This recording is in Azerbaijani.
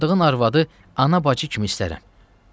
Aldığın arvadı ana-bacı kimi istərəm.